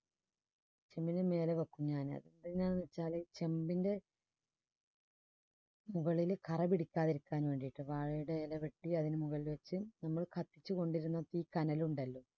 ചെമ്പിന് മേലെ വയ്ക്കും ഞാനത് എന്തിനാന്ന് വെച്ചാല് ചെമ്പിന്റെ മുകളില് കറ പിടിക്കാതിരിക്കാൻ വേണ്ടിയിട്ട് വാഴയുടെ ഇലവെട്ടി അതിന് മുകളിൽ വച്ച് നമ്മൾ കത്തിച്ചുകൊണ്ടിരുന്നാൽ തീ കനലുണ്ടല്ലോ